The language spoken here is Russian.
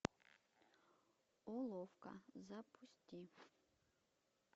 уловка запусти